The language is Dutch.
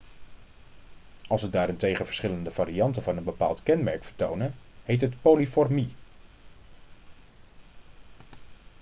als ze daarentegen verschillende varianten van een bepaald kenmerk vertonen heet het polymorfie